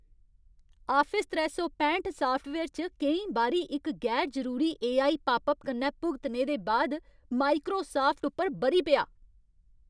Office त्रै सौ पैंठ साफ्टवेयर च केईं बारी इक गैर जरूरी एआई पापअप कन्नै भुगतने दे बाद माइक्रोसाफ्ट उप्पर ब'री पेआ।